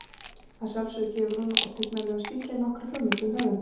Að sjálfsögðu gefur hún og tignarlegur stíllinn nokkra hugmynd um höfundinn.